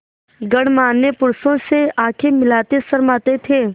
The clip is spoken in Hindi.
गणमान्य पुरुषों से आँखें मिलाते शर्माते थे